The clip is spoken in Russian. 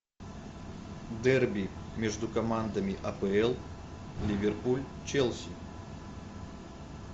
дерби между командами апл ливерпуль челси